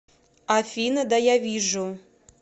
афина да я вижу